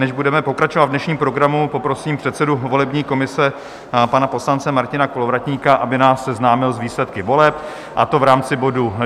Než budeme pokračovat v dnešním programu, poprosím předsedu volební komise pana poslance Martina Kolovratníka, aby nás seznámil s výsledky voleb, a to v rámci bodu